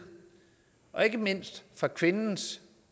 og ikke mindst fra kvindens